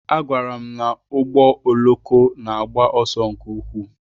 A gwara m na ụgbọ oloko na-agba ọsọ nke ukwuu.